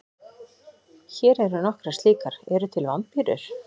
Hér eru nokkrar slíkar: Eru til vampírur?